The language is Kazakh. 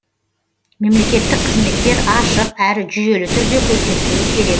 мемлекеттік қызметтер ашық әрі жүйелі түрде көрсетілуі керек